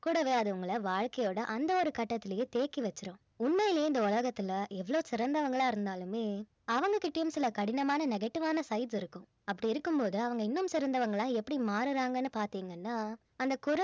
கூடவே அது உங்கள வாழ்க்கையோட அந்த ஒரு கட்டத்திலேயே தேக்கி வெச்சிடும் உண்மையிலே இந்த உலகத்துல எவ்ளோ சிறந்தவங்களா இருந்தாலுமே அவங்க கிட்டயும் சில கடினமான negative ஆன sides இருக்கும் அப்படி இருக்கும் போது அவங்க இன்னும் சிறந்தவங்களா எப்படி மாறறாங்கன்னு பார்த்தீங்கன்னா அந்த